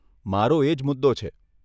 મારો એજ મુદ્દો છે.